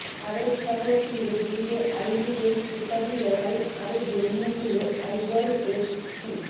আরব সাগর তীরে জিতে আই লিগের খেতাবি লড়াই আরও জমিয়ে দিল আইজল এফসি